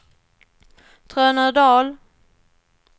Trönödal